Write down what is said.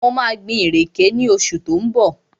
Mo maa gbin ìrèké ní oṣù tí ó ń bọ̀